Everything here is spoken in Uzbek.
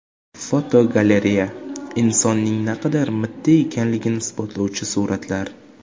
Fotogalereya: Insonning naqadar mitti ekanligini isbotlovchi suratlar.